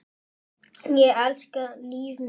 Ég elska líf mitt.